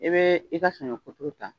E bɛ e ka saɲɔ kuturu ta